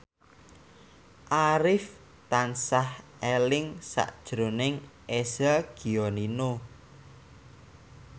Arif tansah eling sakjroning Eza Gionino